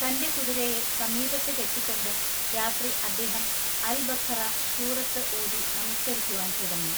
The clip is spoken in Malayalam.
തന്റെ കുതിരയെ സമീപത്ത് കെട്ടിക്കൊണ്ട് രാത്രി അദ്ദേഹം അൽബഖറ സൂറത്തു ഓതി നമസ്കരിക്കുവാൻ തുടങ്ങി.